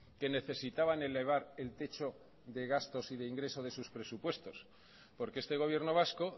que necesitaban elevar el techo de gastos y de ingresos de sus presupuestos porque este gobierno vasco